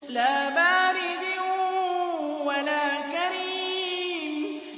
لَّا بَارِدٍ وَلَا كَرِيمٍ